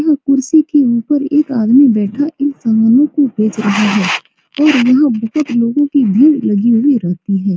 यह कुर्सी के ऊपर एक आदमी बैठा इन सामानों को बेच रहा है और यहां बहुत लोगों की भीड़ लगी हुई रहती है।